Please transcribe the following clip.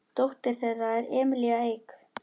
Dóttir þeirra er Emilía Eik.